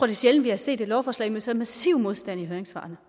er sjældent vi har set et lovforslag med så massiv modstand i høringssvarene